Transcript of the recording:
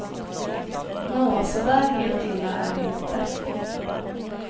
Nå, så där helt illa är det inte.